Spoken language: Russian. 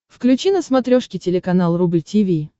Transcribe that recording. включи на смотрешке телеканал рубль ти ви